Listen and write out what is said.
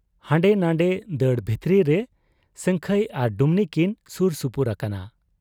ᱦᱟᱸᱰᱮ ᱱᱷᱟᱸᱰᱮ ᱫᱟᱹᱲ ᱵᱷᱤᱛᱨᱟᱹᱨᱮ ᱥᱟᱹᱝᱠᱷᱟᱹᱭ ᱟᱨ ᱰᱩᱢᱱᱤ ᱠᱤᱱ ᱥᱩᱨ ᱥᱩᱯᱩᱨ ᱟᱠᱟᱱᱟ ᱾